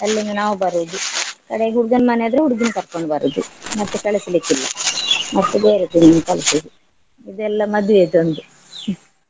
ಅಲ್ಲಿಗ್ ನಾವ್ ಬರುದು ಕಡೆಗ್ ಹುಡ್ಗನ್ ಮನೆ ಆದ್ರೆ ಹುಡ್ಗಿನ್ ಕರ್ಕೊಂಡ್ ಬರುದು ಮತ್ತೆ ಕಳಿಸ್ಲಿಕ್ಕೆ ಇಲ್ಲ ಮತ್ತೆ ಬೇರೆ ದಿನ ಕಳ್ಸುದು ಇದೆಲ್ಲ ಮದ್ವೆದೊಂದು.